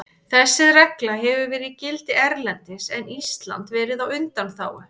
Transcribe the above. Þessi regla hefur verið í gildi erlendis en Ísland verið á undanþágu.